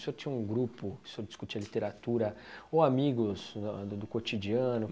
O senhor tinha um grupo, o senhor discutia literatura, ou amigos do cotidiano?